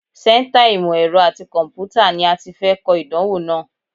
Sẹ́ńtà ìmọ̀ ẹ̀rọ àti kọ̀m̀pútà ni a ti fẹ́ kọ ìdánwò náà.